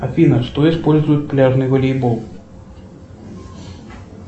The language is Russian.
афина что использует пляжный волейбол